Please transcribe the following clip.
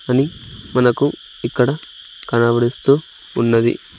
అని మనకు ఇక్కడ కనబడిస్తూ ఉన్నది.